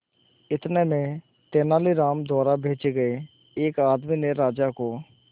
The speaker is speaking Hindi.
इतने में तेनालीराम द्वारा भेजे गए एक आदमी ने राजा को